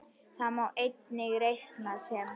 Það má einnig reikna sem